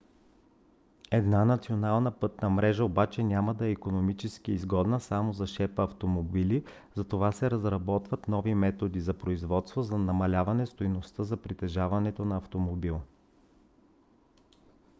една национална пътна мрежа обаче няма да е икономически изгодна само за шепа автомобили затова се разработват нови методи на производство за намаляване стойността за притежаването на автомобил